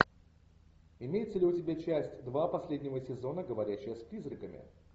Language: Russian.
имеется ли у тебя часть два последнего сезона говорящая с призраками